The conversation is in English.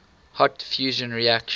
hot fusion reactions